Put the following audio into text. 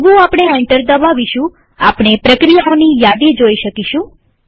જેવું આપણે એન્ટર દબાવીશું આપણે પ્રક્રિયાઓની યાદી જોઈ શકીશું